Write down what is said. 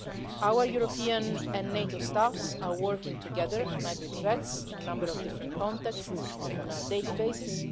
Our European and NATO staffs are working together on hybrid threats in a number of different contexts on a daily basis.